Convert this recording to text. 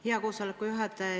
Hea koosoleku juhataja!